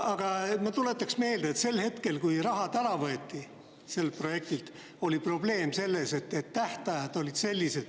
Aga ma tuletan meelde, et siis, kui raha ära võeti sellelt projektilt, oli probleem selles, et tähtajad olid sellised …